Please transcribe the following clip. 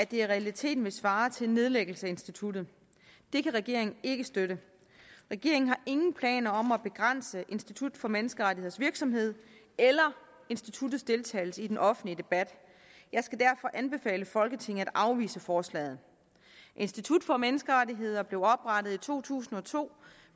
i realiteten ville svare til en nedlæggelse af instituttet og det kan regeringen ikke støtte regeringen har ingen planer om at begrænse institut for menneskerettigheders virksomhed eller instituttets deltagelse i den offentlige debat jeg skal derfor anbefale folketinget at afvise forslaget institut for menneskerettigheder blev oprettet i to tusind og to